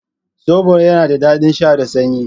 Zobo yana da daɗin sha da sanyi.